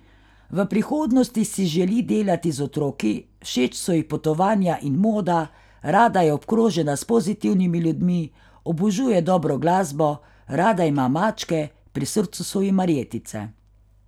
V prihodnosti si želi delati z otroki, všeč so ji potovanja in moda, rada je obkrožena s pozitivnimi ljudmi, obožuje dobro glasbo, rada ima mačke, pri srcu so ji marjetice.